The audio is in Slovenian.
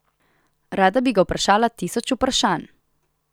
Rada bi ga vprašala tisoč vprašanj.